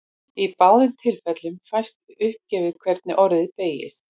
Í báðum tilfellum fæst uppgefið hvernig orðið beygist.